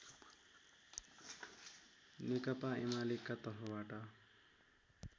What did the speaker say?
नेकपा एमालेका तर्फबाट